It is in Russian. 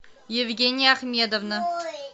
евгения ахмедовна